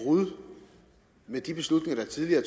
brud med de beslutninger der tidligere